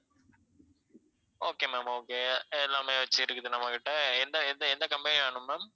okay ma'am okay எல்லாமே வெச்சிருக்குது நம்மகிட்ட எந்த எந்த எந்த company வேணும் ma'am